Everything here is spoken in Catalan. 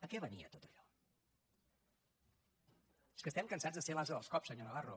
a què venia tot allò és que estem cansats de ser l’ase dels cops senyor navarro